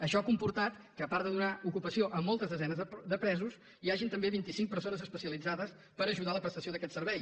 això ha comportat que a part de donar ocupació a moltes desenes de presos hi hagin també vinticinc persones especialitzades per ajudar a la prestació d’aquest servei